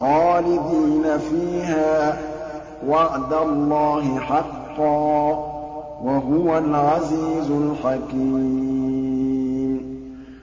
خَالِدِينَ فِيهَا ۖ وَعْدَ اللَّهِ حَقًّا ۚ وَهُوَ الْعَزِيزُ الْحَكِيمُ